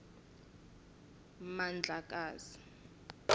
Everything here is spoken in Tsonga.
mandlakazi